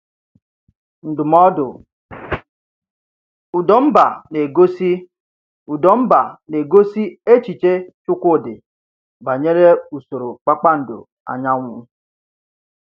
Ndụ́mọdụ: Ụdọ̀m̀bà na-egosi Ụdọ̀m̀bà na-egosi echiche Chikwudi banyere usoro kpakpando anyanwụ̀